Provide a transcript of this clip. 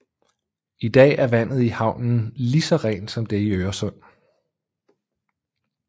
I dag er vandet i havnen lige så rent som det i Øresund